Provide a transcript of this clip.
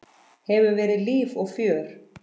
Hefur verið líf og fjör.